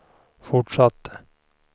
fortsatte